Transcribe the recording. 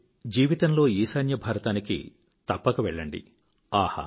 మీరు జీవితంలో ఈశాన్యభారతానికి తప్పక వెళ్ళండి